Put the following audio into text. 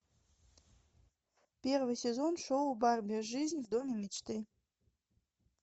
первый сезон шоу барби жизнь в доме мечты